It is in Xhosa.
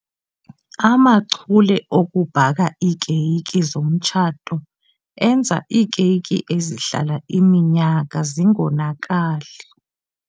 Amachule okubhaka iikeyiki zomtshato enza iikeyiki ezihlala iminyaka zingonakali.